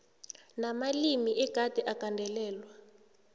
namalimi egade agandelelwe